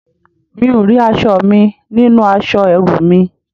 Mi ò rí aṣọ mi nínú aṣọ ẹrú mi